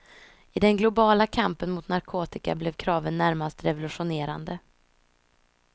I den globala kampen mot narkotika blev kraven närmast revolutionerande.